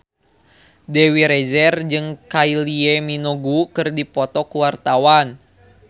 Dewi Rezer jeung Kylie Minogue keur dipoto ku wartawan